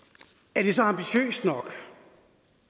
er det så ambitiøst nok